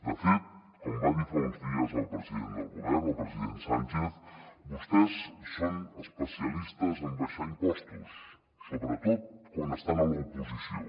de fet com va dir fa uns dies el president del govern el president sánchez vostès són especialistes en abaixar impostos sobretot quan estan a l’oposició